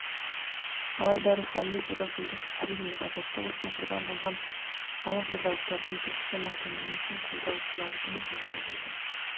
алайда рухани турашылдық әрине азаттық үшін құрбан болған алашордалықтардың түркістан автономиясын қолдаушылардың жағында болды